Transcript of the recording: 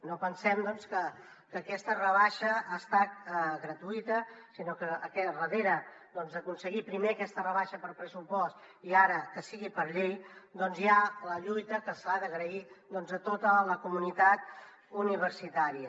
no pensem doncs que aquesta rebaixa hagi estat gratuïta sinó que al darrere d’aconseguir primer aquesta rebaixa per pressupost i ara que sigui per llei hi ha la lluita que s’ha d’agrair a tota la comunitat universitària